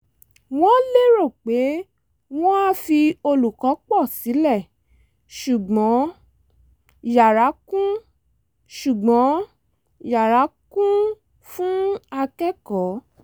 wọ́n lérò pé wọn á fi olùkọ́ pọ̀ sílẹ̀ ṣùgbọ́n yara kún ṣùgbọ́n yara kún fún akẹ́kọ̀ọ́